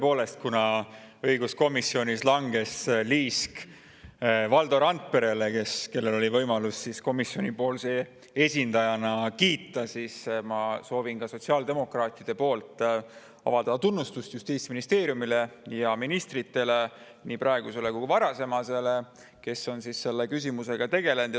Tõepoolest, kuna õiguskomisjonis langes liisk Valdo Randperele, kellel oli võimalus komisjoni esindajana kiita, siis ma soovin ka sotsiaaldemokraatide poolt avaldada tunnustust Justiitsministeeriumile ja ministritele, nii praegusele kui ka varasemale, kes on selle küsimusega tegelenud.